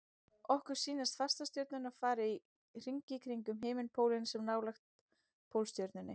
Okkur sýnast fastastjörnurnar fara í hringi kringum himinpólinn sem er nálægt Pólstjörnunni.